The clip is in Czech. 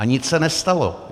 A nic se nestalo.